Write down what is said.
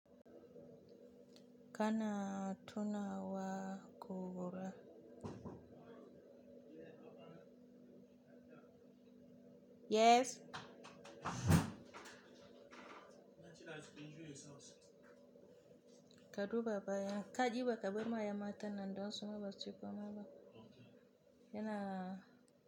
Kana tuna wa ƙora? Yes. Ka duba bayan ka diba ka bai ma ya mata nan don sun ɓaci kuma maba. Yana.